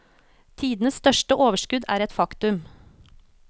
Tidenes største overskudd er et faktum.